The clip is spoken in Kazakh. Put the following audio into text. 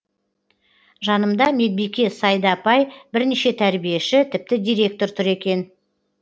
жанымда медбике сайда апай бірнеше тәрбиеші тіпті директор тұр екен